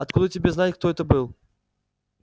откуда тебе знать кто это был